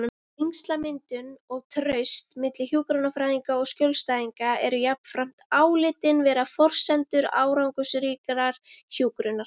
Tengslamyndun og traust milli hjúkrunarfræðinga og skjólstæðinga eru jafnframt álitin vera forsendur árangursríkrar hjúkrunar.